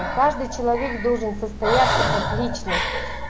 каждый человек должен состояться как личность